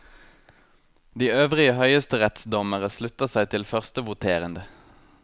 De øvrige høyesterettsdommere slutta seg til førstevoterende.